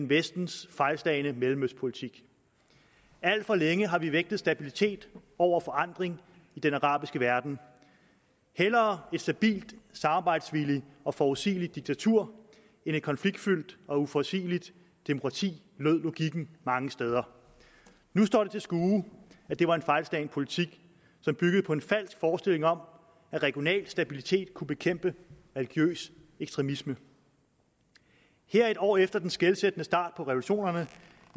vestens fejlslagne mellemøstpolitik alt for længe har vi vægtet stabilitet over forandring i den arabiske verden hellere et stabilt samarbejdsvilligt og forudsigeligt diktatur end et konfliktfyldt og uforudseligt demokrati lød logikken mange steder nu står det til skue at det var en fejlslagen politik som byggede på en falsk forestilling om at regional stabilitet kunne bekæmpe religiøs ekstremisme her en år efter den skelsættende start på revolutionerne